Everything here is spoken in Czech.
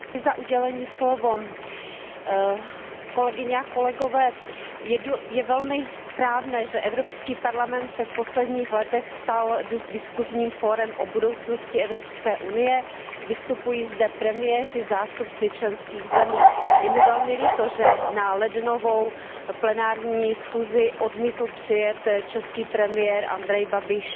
Pane předsedající, kolegyně a kolegové, je velmi správné, že Evropský parlament se v posledních letech stal diskusním fórem o budoucnosti Evropské unie, vystupují zde premiéři, zástupci členských zemí. Je mi velmi líto, že na lednovou plenární schůzi odmítl přijet český premiér Andrej Babiš,